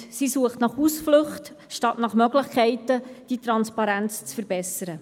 Sie sucht nach Ausflüchten statt nach Möglichkeiten, die Transparenz zu verbessern.